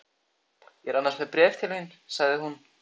Ég er annars með bréf til þín sagði hún.